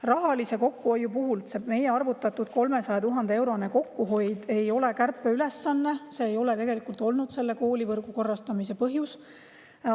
Rahalise kokkuhoiu kohta: meie arvutatud 300 000-eurone kokkuhoid ei ole kärpeülesanne, see ei ole tegelikult olnud koolivõrgu korrastamise põhjus.